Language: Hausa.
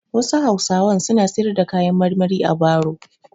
Wasu hausawan suna siyar da kayan marmari a baro.